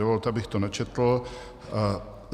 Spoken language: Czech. Dovolte, abych to načetl: